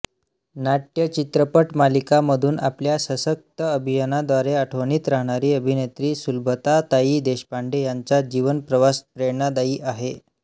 नाटय चित्रपटमालिका मधून आपल्या शसक्त अभिनयाद्वारे आठवणीत राहणारी अभिनेत्री सुलभाताई देशपांडे यांचा जीवनप्रवास प्रेरणादायी आहे